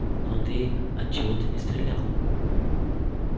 но андрей отчего-то не стрелял